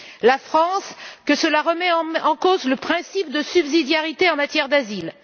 La France avance que cela remet en cause le principe de subsidiarité en matière d'asile.